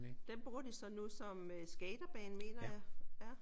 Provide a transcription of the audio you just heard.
Den bruger de så nu som øh skaterbane mener jeg